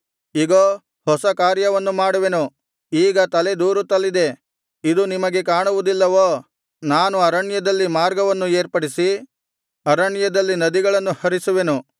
ಇಗೋ ಹೊಸ ಕಾರ್ಯವನ್ನು ಮಾಡುವೆನು ಈಗ ತಲೆದೋರುತ್ತಲಿದೆ ಇದು ನಿಮಗೆ ಕಾಣುವುದಿಲ್ಲವೋ ನಾನು ಅರಣ್ಯದಲ್ಲಿ ಮಾರ್ಗವನ್ನು ಏರ್ಪಡಿಸಿ ಅರಣ್ಯದಲ್ಲಿ ನದಿಗಳನ್ನು ಹರಿಸುವೆನು